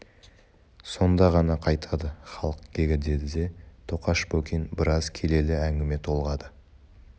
сонда ғана қайтады халық кегі деді де тоқаш бокин біраз келелі әңгіме толғады